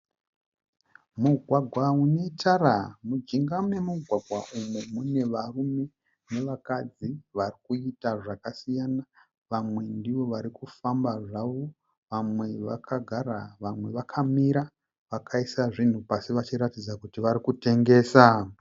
Mugwagwa une tara. Mujinga memugwagwa umu mune varume nevakadzi varikuita zvakasiyana. Vamwe ndivo varikufamba zvavo , vamwe vakagara, vamwe vakamira vakaisa zvinhu pasi vachiratidza kuti vari kutengesa.